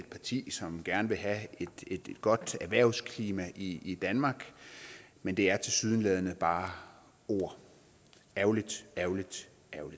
parti som gerne vil have et godt erhvervsklima i danmark men det er tilsyneladende bare ord ærgerligt ærgerligt